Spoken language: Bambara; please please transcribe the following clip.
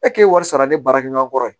E k'e wari sara ne baarakɛɲɔgɔnkɔrɔ ye